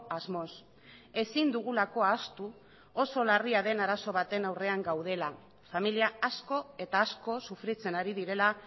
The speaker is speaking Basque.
asmoz ezin dugulako ahaztu oso larria den arazo baten aurrean gaudela familia asko eta asko sufritzen ari direla